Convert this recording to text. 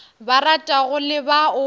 ba ratago le ba o